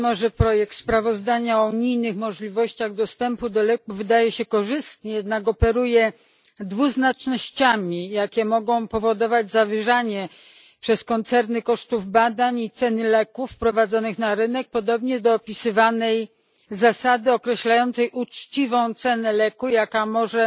Mimo że projekt sprawozdania o unijnych możliwościach zwiększenia dostępu do leków wydaje się korzystny, jednak operuje dwuznacznościami, które mogą powodować zawyżanie przez koncerny kosztów badań i ceny leków wprowadzonych na rynek podobnie do opisywanej zasady określającej uczciwą cenę leku, która może